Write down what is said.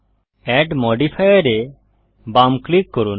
add modifier এ বাম click করুন